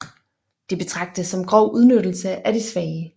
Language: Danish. Det betragtes som grov udnyttelse af de svage